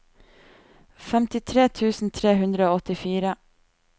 femtitre tusen tre hundre og åttifire